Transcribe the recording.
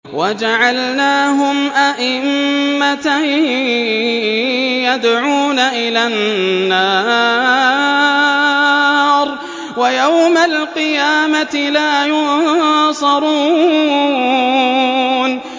وَجَعَلْنَاهُمْ أَئِمَّةً يَدْعُونَ إِلَى النَّارِ ۖ وَيَوْمَ الْقِيَامَةِ لَا يُنصَرُونَ